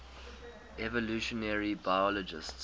evolutionary biologists